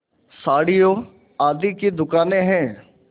साड़ियों आदि की दुकानें हैं